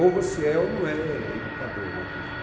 Ou você é ou não é educador, né, quer dizer,